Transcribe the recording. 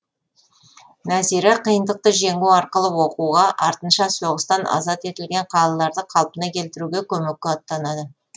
нәзира қиындықты жеңу арқылы оқуға артынша соғыстан азат етілген қалаларды қалпына келтіруге көмекке аттанады